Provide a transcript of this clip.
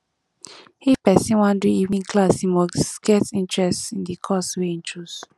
if persin wan do evening class e must get interest in the course wey e choose